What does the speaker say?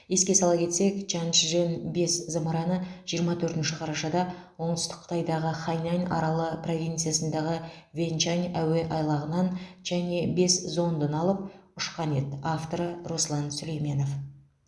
еске сала кетсек чанчжэн бес зымыраны жиырма төртінші қарашада оңтүстік қытайдағы хайнань аралы провинциясындағы вэнчань әуе айлағынан чанъэ бес зондын алып ұшқан еді авторы руслан сүлейменов